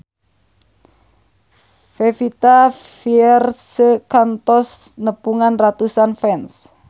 Pevita Pearce kantos nepungan ratusan fans